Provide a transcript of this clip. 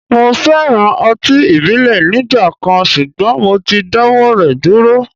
Mo féràn ọtí ìbílẹ̀ nígbà kan, ṣùgbọ́n mo ti dáwọ́ rẹ̀ dúró.